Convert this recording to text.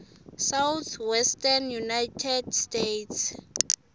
southwestern united states